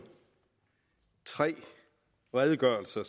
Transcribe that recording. tre redegørelser